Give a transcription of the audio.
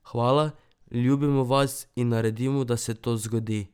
Hvala, ljubimo vas in naredimo, da se to zgodi!